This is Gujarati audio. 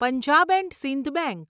Punjab and Sindh bank